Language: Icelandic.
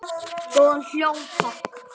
Góðan hljóm, takk!